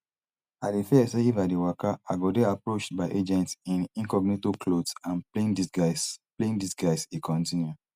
i dey fear say if i dey waka i go dey approached by agents in incognito clothes and plain disguise plain disguise e kontinu